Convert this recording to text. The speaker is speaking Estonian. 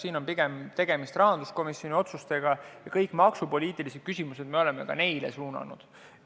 Siin on pigem tegemist rahanduskomisjoni otsustega ja kõik maksupoliitilised küsimused olemegi neile suunanud.